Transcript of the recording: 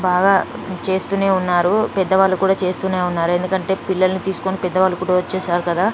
బాగా చేస్తూనే ఉన్నారు పెద్దవాళ్ళు కూడా చేస్తూనే ఉన్నారు ఎందుకంటే పిల్లల్ని తీసుకొని పెద్ద వాళ్ళు కూడా వచ్చేసారు కదా